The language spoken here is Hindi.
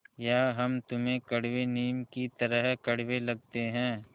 या हम तुम्हें कड़वे नीम की तरह कड़वे लगते हैं